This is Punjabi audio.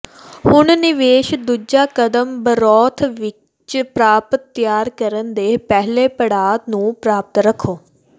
ਹੁਣ ਨਿਵੇਸ਼ ਦੂਜਾ ਕਦਮ ਬਰੋਥ ਵਿੱਚ ਪ੍ਰਾਪਤ ਤਿਆਰ ਕਰਨ ਦੇ ਪਹਿਲੇ ਪੜਾਅ ਨੂੰ ਪ੍ਰਾਪਤ ਰੱਖੋ